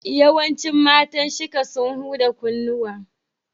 Yawancin matan Shika sun huda kunnuwa.